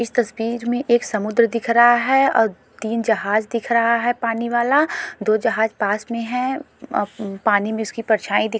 इस तस्वीर में एक समुद्र दिख रहा है और तीन जहाज दिख रहा है पानी वाला दो जहाज पास में है पानी में उसकी परछाई।